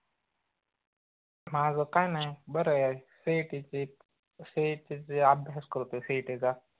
माझ काय नाई बर ए CET ची CET ची अभ्यास करतोय CET चा